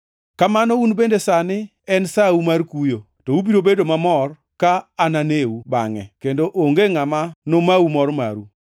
Kamano un bende sani en sau mar kuyo, to ubiro bedo mamor ka ananeu bangʼe, kendo onge ngʼama nomau mor maru.